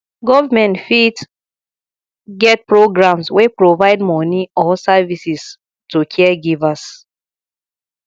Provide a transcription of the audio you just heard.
government fit get programs wey provide money or services to caregivers